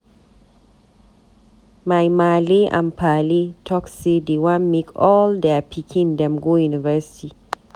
My maale and paale talk say dey wan make all their pikin dem go university.